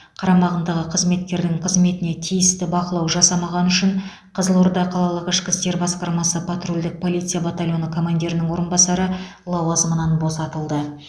қарамағындағы қызметкердің қызметіне тиісті бақылау жасамағаны үшін қызылорда қалалық ішкі істер басқармасы патрульдік полиция батальоны командирінің орынбасары лауазымынан босатылды